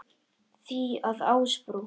því að Ásbrú